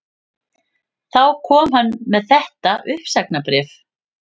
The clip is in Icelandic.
Þá kom hann með þetta uppsagnarbréf